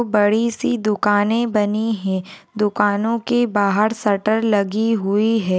बड़ी सी दुकाने बनी है दुकानों के बाहर शटर लगी हुई है।